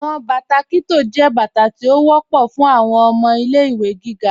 Awọn bátà Kitto jẹ́ bátà tí ó wọ̀pọ̀ fún awọn ọmọ ilẹ̀-ìwé gígá.